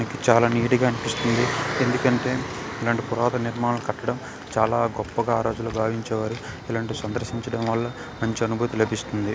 చాల నీట్ గ అనిపిస్తుంది ఎందుకంటె ఇలాంటి పురాణ నిర్మాణ కట్టడం చాల గొప్పగా ఆ రోజుల్లో భావించేవారు ఇలాంటి సంద్రతించడం వల్ల మంచి అనుభూతి లబిస్తుంది.